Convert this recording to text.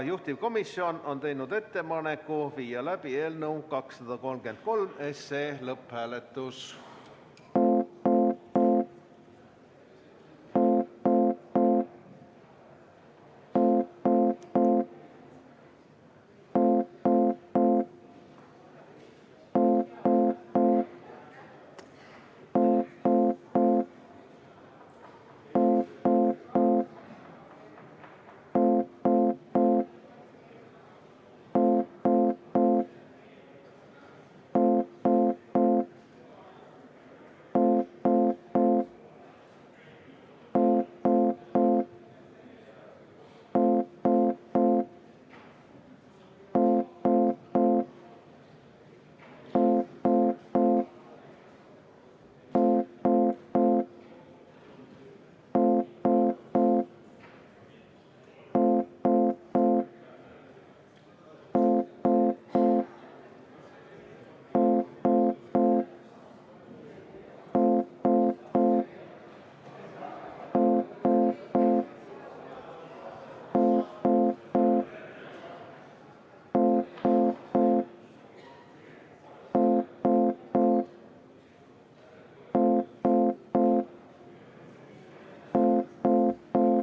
Juhtivkomisjon on teinud ettepaneku viia läbi eelnõu 233 lõpphääletus.